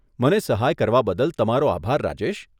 મને સહાય કરવા બદલ તમારો આભાર, રાજેશ.